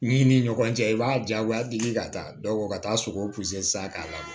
Min ni ɲɔgɔn cɛ i b'a diyagoya deli ka taa dɔ ka taa sogow san k'a lamɛn